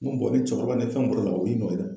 N ko mɔgɔ te cɛkɔrɔba ni fɛn mun bɔra la o y'i nɔ ye dɛ.